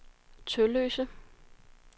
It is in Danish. Tølløse